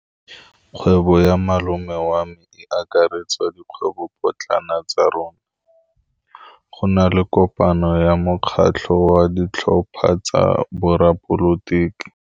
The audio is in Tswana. Kgwêbô ya malome wa me e akaretsa dikgwêbôpotlana tsa rona. Go na le kopanô ya mokgatlhô wa ditlhopha tsa boradipolotiki.